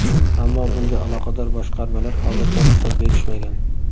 Ammo bunga aloqador boshqarmalar hozircha ruxsat berishmagan.